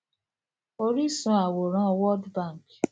oríṣun àwòrán world bank